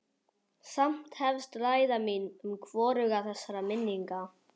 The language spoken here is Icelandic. Samt hefst ræða mín við hvoruga þessara minninga.